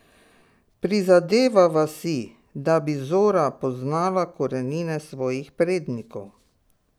Prizadevava si, da bi Zora poznala korenine svojih prednikov.